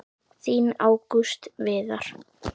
Þinn Ágúst Viðar.